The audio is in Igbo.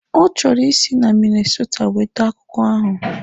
Ọ chọrọ isi na Minnasota weta akwụkwọ ahụ